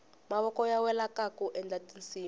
mavoko ya wela kaku endla tinsimu